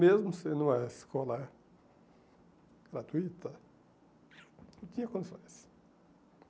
Mesmo sendo uma escola gratuita, não tinha condições.